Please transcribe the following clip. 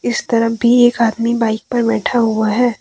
इस तरफ भी एक आदमी बाइक पे बैठा हुआ है।